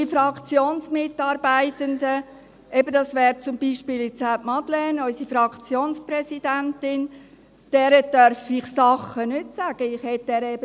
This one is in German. Den Fraktionsmitarbeitenden, dazu gehört beispielsweise auch Madeleine Amstutz, unsere Fraktionspräsidentin, darf ich gewisse Dinge nicht sagen.